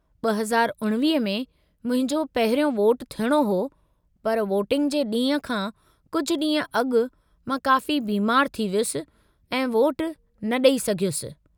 2019 में मुंहिंजो पहिरियों वोटु थियणो हो, पर वोटिंग जे ॾींहुं खां कुझु ॾींहं अॻु मां काफ़ी बीमारु थी वियुसि ऐं वोटु न ॾई सघियुसि।